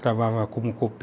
Trabalhava como